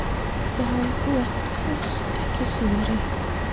Já, þú ert alls ekki síðri.